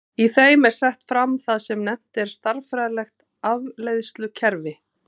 Í þeim er sett fram það sem nefnt er stærðfræðilegt afleiðslukerfi.